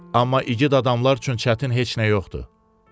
Amma igid adamlar üçün çətin heç nə yoxdur.